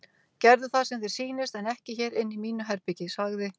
Gerðu það sem þér sýnist en ekki hér inni í mínu herbergi sagði